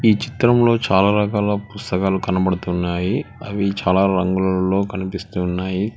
ఈ చిత్రంలో చాలా రకాల పుస్తకాలు కనబడుతున్నాయి అవి చాలా రంగులలో కనిపిస్తున్నాయి.